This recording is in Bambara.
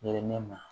Yelen ne ma